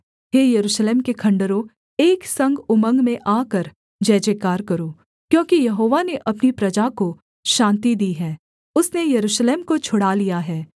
हे यरूशलेम के खण्डहरों एक संग उमंग में आकर जयजयकार करो क्योंकि यहोवा ने अपनी प्रजा को शान्ति दी है उसने यरूशलेम को छुड़ा लिया है